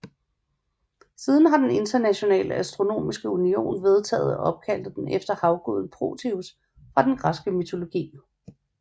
Siden har den Internationale Astronomiske Union vedtaget at opkalde den efter havguden Proteus fra den græske mytologi